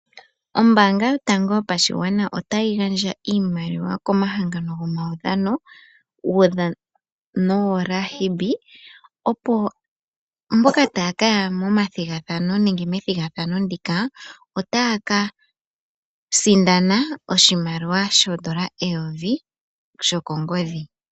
Ombaanga yotango yopashigwana otayi gandja iimaliwa komahangano gomaudhano woRugby opo mboka taya ka ya momathigathano nenge methigathano ndika otaya ka sindana oshimaliwa shoondola eyovi sho kongodhi.